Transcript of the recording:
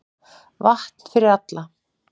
Vatn fyrir alla